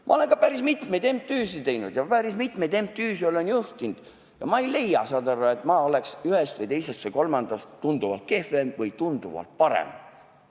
Ma olen ka päris mitmeid MTÜ-sid teinud ja päris mitmeid MTÜ-sid juhtinud ja ma ei leia, et ma oleks ühest, teisest või kolmandast tunduvalt kehvem või tunduvalt parem.